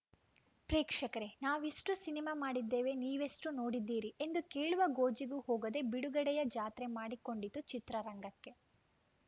ಪ್ರೇಕ್ಷಕರೇ ನಾವಿಷ್ಟುಸಿನಿಮಾ ಮಾಡಿದ್ದೇವೆ ನೀವೆಷ್ಟುನೋಡಿದ್ದೀರಿ ಎಂದು ಕೇಳುವ ಗೋಜಿಗೂ ಹೋಗದೆ ಬಿಡುಗಡೆಯ ಜಾತ್ರೆ ಮಾಡಿಕೊಂಡಿತು ಚಿತ್ರರಂಗಕ್ಕೆ